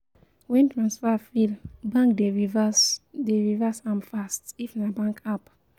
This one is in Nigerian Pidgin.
When transfer fail, bank dey reverse dey reverse am fast if na bank app